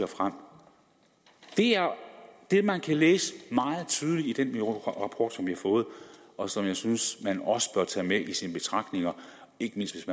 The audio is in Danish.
frem det er det man kan læse meget tydeligt i den rapport som vi har fået og som jeg synes man også bør tage med i sine betragtninger ikke mindst